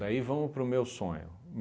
Daí vamos para o meu sonho.